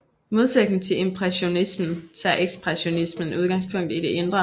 I modsætning til impressionismen tager ekspressionismen udgangspunkt i det indre